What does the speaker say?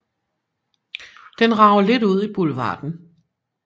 Den rager lidt ud i boulevarden